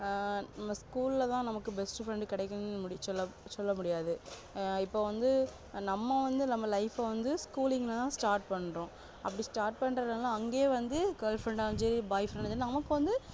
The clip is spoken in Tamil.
ஆஹ் நம்ம school லதா நமக்கு best friend கிடைக்கும்னு சொல்ல சொல்லமுடியாது ஆஹ் இப்ப வந்து நம்ம வந்து நம்ம life ஆஹ் வந்து school ஆஹ் start பண்றோம் அப்டி start பண்றதுனால அங்கே வந்து girl friend ஆ இருந்தாலும் சரி boy friend ஆ இருந்தாலும் சரி நமக்கு வந்து